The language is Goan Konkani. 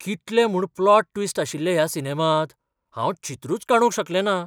कितले म्हूण प्लॉट ट्विस्ट आशिल्ले ह्या सिनेमांत! हांव चित्रूच काडूंक शकलेंना.